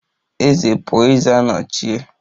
Eze pụọ, eze anọchie